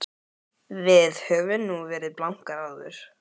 Við höfum nú verið blankar áður.